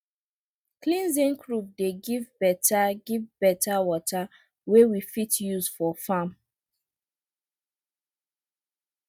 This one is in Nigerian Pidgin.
clean zinc roof dey give better give better water wey we fit use for farm